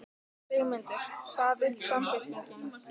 Sigmundur: Hvað vill Samfylkingin?